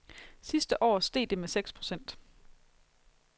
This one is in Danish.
Sidste år steg det med seks procent.